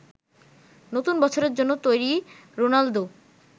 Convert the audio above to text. নতুন বছরের জন্য তৈরি রোনালদো।